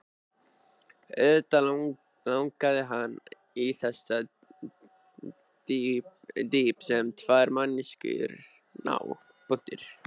Auðvitað langaði hann í þessa dýpt sem tvær manneskjur ná.